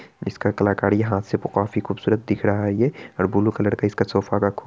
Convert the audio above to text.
इसका कलाकारी यहां से काफी खूबसूरत दिख रहा है ये और ब्लू कलर का इसका सोफा का --